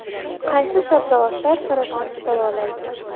Qaysi sabzavotlar saratonni davolaydi?